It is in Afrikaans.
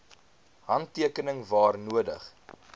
handtekening waar nodig